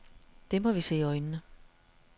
Det må vi se i øjnene.